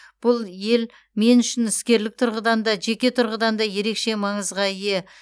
бұл ел мен үшін іскерлік тұрғыдан да жеке тұрғыдан да ерекше маңызға ие